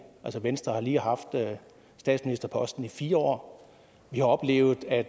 altså venstre har lige haft statsministerposten i fire år vi har oplevet at